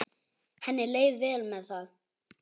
Henni leið vel með það.